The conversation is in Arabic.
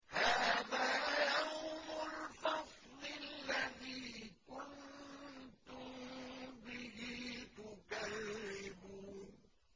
هَٰذَا يَوْمُ الْفَصْلِ الَّذِي كُنتُم بِهِ تُكَذِّبُونَ